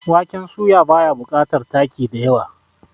waken soya ba ya bukatar taki da yawa